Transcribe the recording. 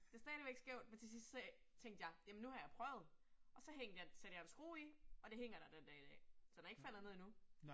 Det stadigvæk skævt, men til sidst så tænkte jeg, jamen nu har jeg prøvet, Og så hængte jeg satte jeg en skrue i, og det hænger der den dag i dag. Så den er ikke faldet ned endnu